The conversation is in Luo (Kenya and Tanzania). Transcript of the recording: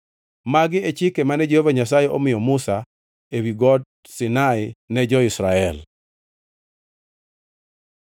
Magi e chike mane Jehova Nyasaye omiyo Musa ewi Got Sinai ne jo-Israel.